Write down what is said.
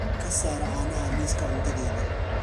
ka saar caanaha liiska cuntadayda